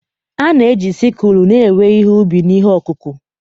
A na-eji sikul na-ewe ihe ubi na ihe ọkụkụ.